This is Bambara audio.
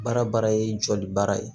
Baara baara ye jɔli baara ye